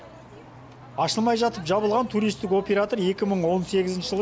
ашылмай жатып жабылған туристік оператор екі мың он сегізінші жылы